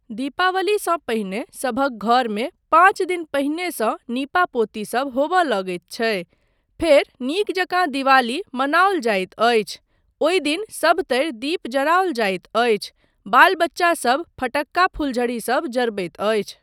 दीपवालीसँ पहिने सभक घरमे पाँच दिन पहिनेसँ नीपा पोती सब होबय लगैत छै, फेर नीक जकाँ दीपावली मनाओल जाइत अछि, ओहि दिन सभतरि दीप जराओल जाइत अछि, बाल बच्चासब फटक्का फुलझड़ी सब जरबैत अछि।